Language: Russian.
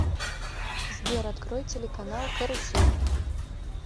сбер открой телеканал карусель